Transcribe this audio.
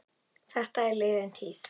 Þetta er liðin tíð.